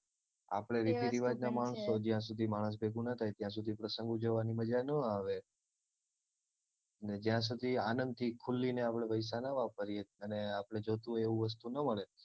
આપડે રીતિરીવાજના માણસો જ્યાં સુધી માણસ ભેગું ના થાય ત્યાં સુધી પ્રસંગ ઉજવવાની મજા નો આવે ને જ્યાં સુધી આનંદ થી ખુલીને પૈસા નો વાપરીએ અને આપડે જોયતું હોય એવું વસ્તુ ન મળે